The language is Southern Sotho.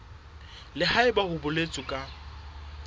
le haebe ho boletswe ka